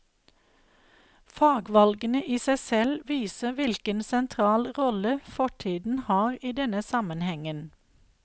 Fagvalgene i seg selv viser hvilken sentral rolle fortiden har i denne sammenhengen.